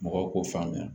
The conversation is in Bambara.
Mɔgɔw k'o faamuya